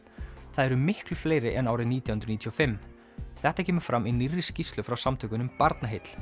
það eru miklu fleiri en árið nítján hundruð níutíu og fimm þetta kemur fram í nýrri skýrslu frá samtökunum Barnaheill